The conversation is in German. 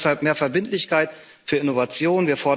Wir fordern deshalb mehr Verbindlichkeit für Innovationen.